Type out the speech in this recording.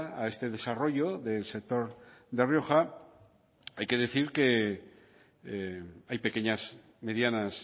a este desarrollo del sector de rioja hay que decir que hay pequeñas medianas